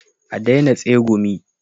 A daina tsegumi